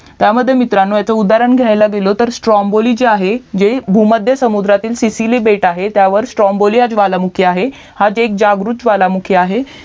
त्यामध्ये मित्रांनो ह्याचा उदाहरण घ्यायला गेलो तर स्त्रोंबोली जे आहे जे भूमध्य समुद्रातील सिसिली बेट आहे त्यावर स्त्रोंबोली हा ज्वालामुखी आहे हाच एक जागृत ज्वालामुखी आहे